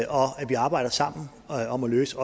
vi arbejder sammen om at løse